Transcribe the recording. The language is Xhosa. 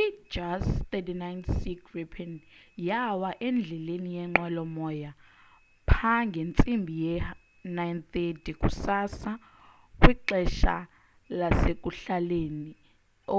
i-jas 39c gripen yawa endleleni yeenqwelo moya pha ngentsimbi ye 9:30 kusasa kwixesha lasekuhlalenie